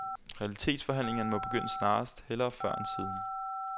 Realitetsforhandlingerne må begynde snarest, hellere før end siden.